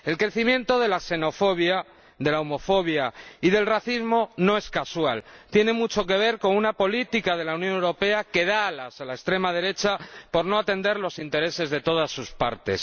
El crecimiento de la xenofobia, de la homofobia y del racismo no es casual, tiene mucho que ver con una política de la Unión Europea que da alas a la extrema derecha por no atender los intereses de todas sus partes.